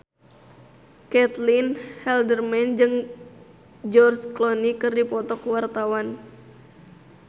Caitlin Halderman jeung George Clooney keur dipoto ku wartawan